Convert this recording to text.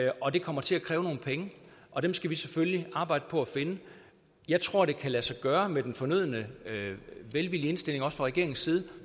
og det kommer til at kræve nogle penge og dem skal vi selvfølgelig arbejde på at finde jeg tror det kan lade sig gøre med den fornødne velvillige indstilling også fra regeringens side